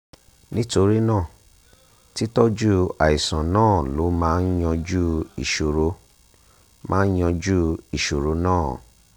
nítorí náà títọ́jú àìsàn náà ló máa yanjú ìṣòro máa yanjú ìṣòro náà